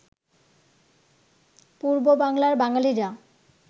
পূর্ব বাংলার বাঙালিরা